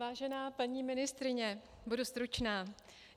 Vážená paní ministryně, budu stručná.